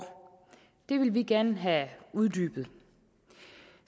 det vil vi gerne have uddybet